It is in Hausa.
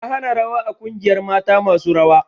Na hana rawa a ƙungiyar mata masu rawa!